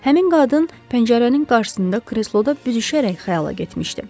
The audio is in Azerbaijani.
Həmin qadın pəncərənin qarşısında kresloda büzüşərək xəyala getmişdi.